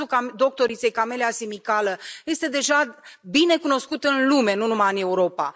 Cazul doctoriței Camelia Simicală este deja bine cunoscut în lume, nu numai în Europa.